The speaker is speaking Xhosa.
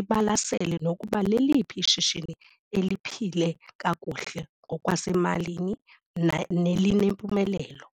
ibalasele nokuba leliphi ishishini eliphile kakuhle ngokwasemalini nelinempumelelo.